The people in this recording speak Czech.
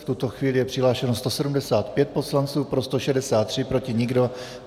V tuto chvíli je přihlášeno 175 poslanců, pro 163, proti nikdo.